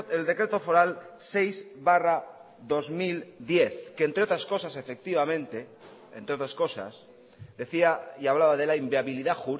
el decreto foral seis barra dos mil diez que entre otras cosas efectivamente entre otras cosas decía y hablaba de la inviabilidad